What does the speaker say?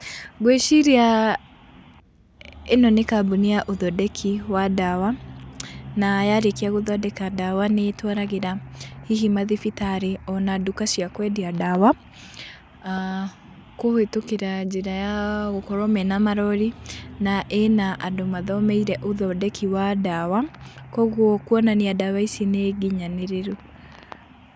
Ngwĩciria ĩno nĩ kambũni ya ũthondeki wa ndawa, na yarĩkia gũthondeka ndawa nĩ ĩtawaragĩra hihi mathibitarĩ ona nduka cia kwendia ndawa aah kũhĩtũkĩra njĩra ya gũkorwo mena marori na ĩna andũ mathomeire ũthondeki wa ndawa , kwoguo kuonania ndawa ici nĩ nginyanĩrĩru.